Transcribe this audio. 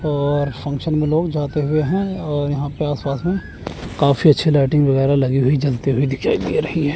और फंक्शन मे लोग जाते हुए हैं और यहां पे आस पास मे काफी अच्छी लाइटिंग वगैरा लगी हुई जलती हुई दिखाई दे रही है।